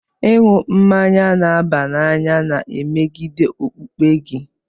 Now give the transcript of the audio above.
Ịṅụ mmanya n'aba n'any na-emegide okpukpe gị?